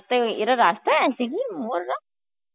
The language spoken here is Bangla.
তে এরা রাস্তায় আসে কি Hindi রা?